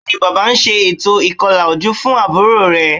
Bẹ́ẹ̀ni, Bàbá ń ṣe ètò ìkọlà ojú fún àbúrò rẹ̀